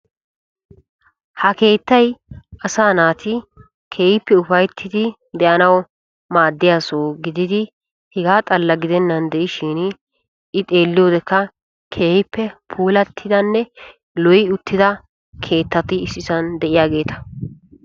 Ha keettay asaa naati ufayttiddi de'anawu maadiya soho gididdi hega xala gidenan xeelliyoode lo'iya keettatti issippe de'iyagetta.